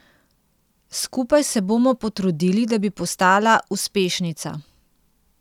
Skupaj se bomo potrudili, da bi postala uspešnica.